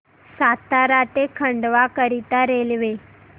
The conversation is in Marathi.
सातारा ते खंडवा करीता रेल्वे